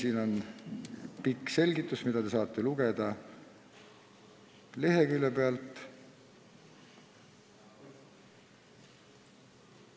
" Siin on pikk selgitus, mida te saate lugeda seletuskirjast.